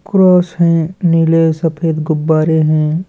Cross है नील सफेद गुब्बारे हैं।